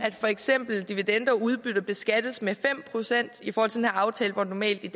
at for eksempel dividender og udbytte beskattes med fem procent i forhold til den her aftale hvor det normalt i